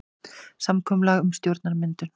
Samkomulag um stjórnarmyndun